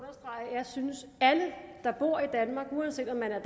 jeg synes at alle der bor i danmark uanset om man er